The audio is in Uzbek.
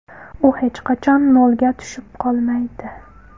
U hech qachon nolga tushib qolmaydi.